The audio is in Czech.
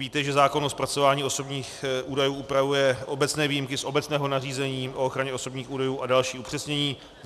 Víte, že zákon o zpracování osobních údajů upravuje obecné výjimky z obecného nařízení o ochraně osobních údajů a další upřesnění.